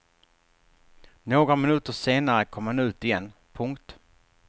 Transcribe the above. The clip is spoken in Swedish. Några minuter senare kom han ut igen. punkt